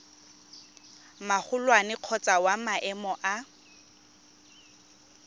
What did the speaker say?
magolwane kgotsa wa maemo a